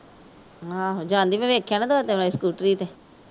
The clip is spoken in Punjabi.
ਆਹੋਂ ਜਾਂਦੀ ਮੈਂ ਵੇਖਿਆ ਦੋ ਤਿੰਨ ਵਾਰੀ ਸਕੂਟਰੀ ਤੇ।